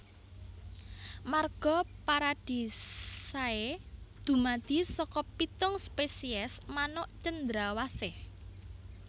Marga Paradisaea dumadi saka pitung spesies manuk cendrawasih